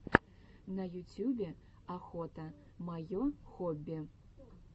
на ютюбе охота мое хобби